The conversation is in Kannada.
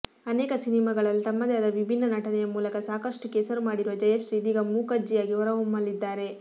ಅನೇಕ ಸಿನಿಮಾಗಳಲ್ಲಿ ತಮ್ಮದೇ ಆದ ವಿಭಿನ್ನ ನಟನೆಯ ಮೂಲಕ ಸಾಕಷ್ಟು ಕೆಸರು ಮಾಡಿರುವ ಜಯಶ್ರೀ ಇದೀಗ ಮೂಕಜ್ಜಿಯಾಗಿ ಹೊರಹೊಮ್ಮಲಿದ್ದಾರೆ